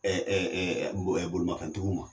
Ɛɛ bolimafɛn tigiw ma.